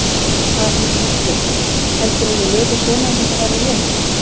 Hafi hún þá spurt: Heldurðu að ég léti svona ef þetta væri rétt?